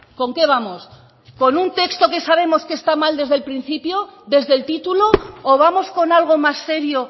con qué vamos con un texto qué sabemos que está mal desde el principio desde el título o vamos con algo más serio